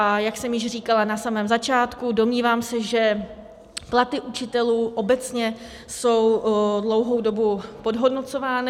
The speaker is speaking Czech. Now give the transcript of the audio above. A jak jsem již říkala na samém začátku, domnívám se, že platy učitelů obecně jsou dlouhou dobu podhodnocovány.